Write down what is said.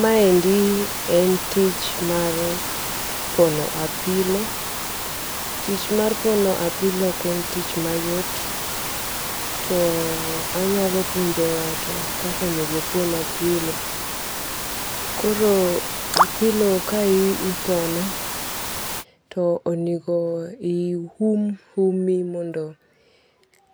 Maendi en tich mar pono apilo, tich mar pono apilo ok en tich mayot, too anyalo puonjo nga'to kaka onego opon apilo, koro apilo kaipono to onego ium umi mondo